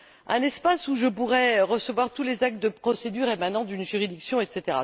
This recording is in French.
un espace où je pourrais recevoir tous les actes de procédure émanant d'une juridiction, etc.